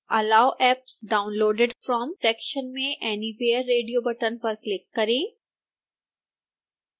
allow apps downloaded from section में anywhere radio button पर click करें